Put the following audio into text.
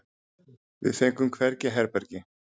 Við fengum hvergi herbergi.